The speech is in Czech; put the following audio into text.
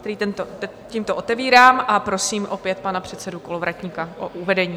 který tímto otevírám a prosím opět pana předsedu Kolovratníka o uvedení.